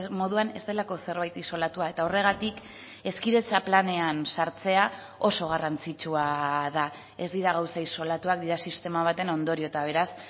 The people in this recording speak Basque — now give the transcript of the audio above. moduan ez delako zerbait isolatua eta horregatik hezkidetza planean sartzea oso garrantzitsua da ez dira gauza isolatuak dira sistema baten ondorio eta beraz